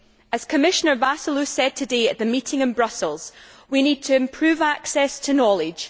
As Commissioner Vassiliou said today at the meeting in Brussels, we need to improve access to knowledge.